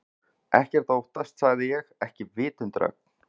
Ekkert að óttast sagði ég, ekki vitundarögn